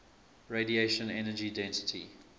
radiation energy density